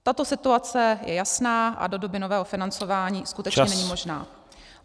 Tato situace je jasná a do doby nového financování skutečně není možná.